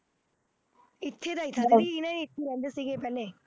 ਇੱਥੇ ਦਾ ਹੈ ਰਹਿੰਦੇ ਸੀਗੇ ਪਹਿਲੇ